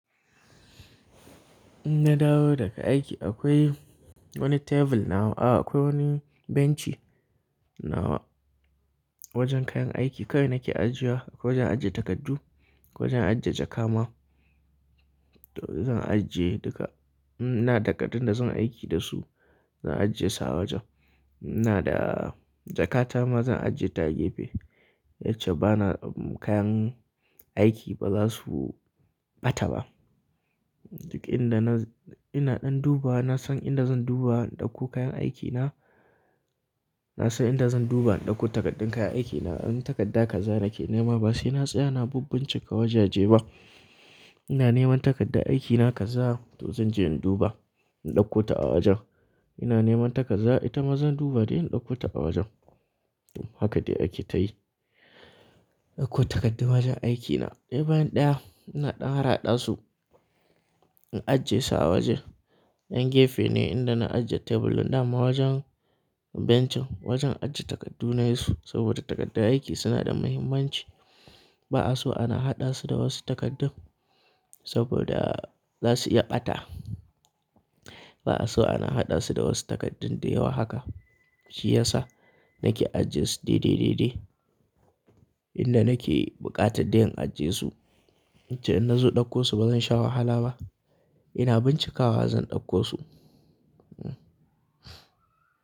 In na dawo daga aiki akwai wani tebur nawa, a akwai wani benchi nawa wajen kayan aiki. Kai nake ajiya, akwai wajen ajiye takardu, akwai wajen ajiye jakama. To zan ajiye duka, ina da takaddun da zan aiki da su zan ajiye su a wajen. Ina da jakata ma zan ajiye ta a gefe. Yace bana kayan aiki ba za su ɓata ba. Duk inda ina ɗan duba na san inda zan duba in ɗauko kayan aikina. Na san inda zan duba in ɗauko takaddun kayan aikina. In takadda kaza nake nema ba sai na tsaya na bibbincika wajeje ba. Ina neman takadda aikina kaza to zan je in duba, in ɗauko ta a wajen. Ina neman ta kaza ita ma zan duba dai in ɗauko ta a wajen. Haka dai ake ta yi. Ɗauko takardu wajen aikina. Ɗaya bayan ɗaya ina ɗan hada su, in ajiye su a wajen. Yan gefe ne inda na ajiye teburin da ma wajen bencin wajen ajiye takardu na su saboda takardu aiki suna da muhimmanci. Ba'a so ana haɗa su da wasu takardu saboda za su iya ɓata. Ba'a so ana haɗa su da wasu takardun da yawa haka. Shi ya sa nake ajiyesu daidai, daidai. Inda nake buƙata dai in ajiyesu. Yace in na zo ɗauko su bazan sha wahala ba. Ina bincikawa zan ɗauko su.